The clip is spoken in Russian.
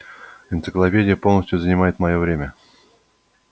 энциклопедия полностью занимает моё время